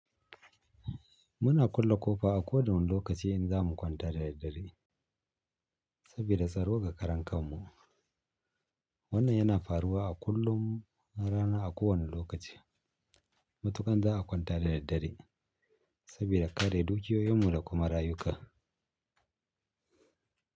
Muna ƙulle ƙofa a kowane lokaci in za mu kwanta da daddare saboda tsaro ga karan kanmu. Wannan yana faruwa a kullum, a rana a kowane lokaci. Matuka za a kwanta da daddare saboda kare dukiyoyinmu da kuma rayuka.